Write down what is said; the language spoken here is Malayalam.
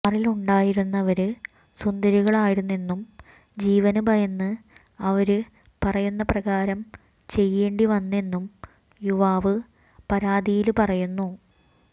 കാറിലുണ്ടായിരുന്നവര് സുന്ദരികളായിരുന്നെന്നും ജീവന് ഭയന്ന് അവര് പറയുന്നപ്രകാരം ചെയ്യേണ്ടിവന്നെന്നും യുവാവ് പരാതിയില് പറയുന്നു